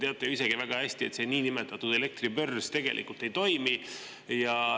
Sest te teate ju isegi väga hästi, et see niinimetatud elektribörs tegelikult ei toimi.